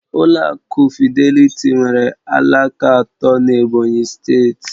Ụlọ akụ Fịdélị̀tí nwere alaka atọ n'Ebonyi steeti